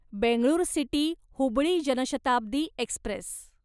Bengaluru city Hubballi Janshatabdi Express